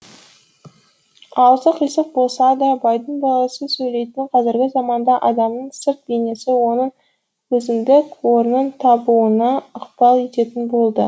аузы қисық болса да байдың баласы сөйлейтін қазіргі заманда адамның сырт бейнесі оның өзіндік орнын табуына ықпал ететін болды